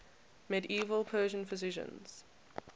medieval persian physicians